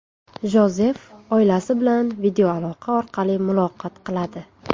Jozef oilasi bilan videoaloqa orqali muloqot qiladi.